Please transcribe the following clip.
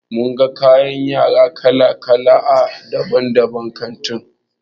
Mun ga kayan yara kala kala a babban kanti.